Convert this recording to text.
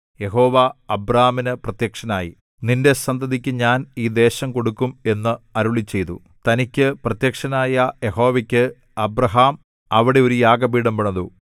യഹോവ അബ്രാനു പ്രത്യക്ഷനായി നിന്റെ സന്തതിക്കു ഞാൻ ഈ ദേശം കൊടുക്കും എന്ന് അരുളിച്ചെയ്തു തനിക്കു പ്രത്യക്ഷനായ യഹോവയ്ക്ക് അബ്രാഹാം അവിടെ ഒരു യാഗപീഠം പണിതു